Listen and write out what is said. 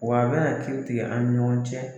Wa a bɛ ka kiiri tigɛ an ni ɲɔgɔn cɛ